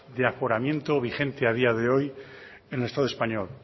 de aforamiento vigente a día de hoy en el estado español